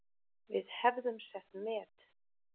Við hefðum sett met